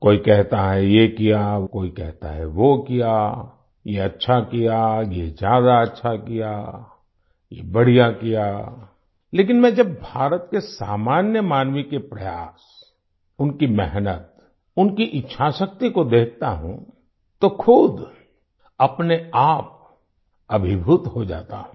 कोई कहता है ये किया कोई कहता है वो किया ये अच्छा किया ये ज्यादा अच्छा किया ये बढ़िया किया लेकिन मैं जब भारत के सामान्य मानवी के प्रयास उनकी मेहनत उनकी इच्छाशक्ति को देखता हूँ तो खुद अपने आप अभिभूत हो जाता हूँ